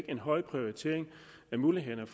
en høj prioritering af mulighederne